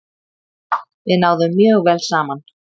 Við náðum mjög vel saman.